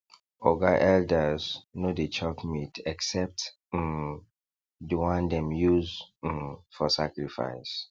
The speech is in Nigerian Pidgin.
oga elders no dey chop meat except um the one dem use um for sacrifice